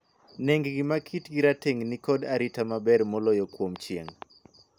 Nengni ma kitgi rateng' ni kod arita maber moloyo kuom chieng'.